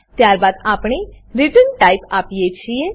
ત્યારબાદ આપણે return type return type આપીએ છીએ